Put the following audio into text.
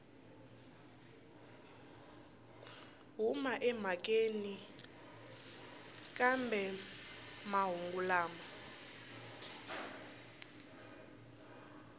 huma emhakeni kambe mahungu lama